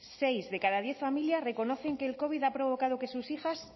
seis de cada diez familias reconocen que el covid ha provocado que sus hijas